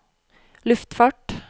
luftfart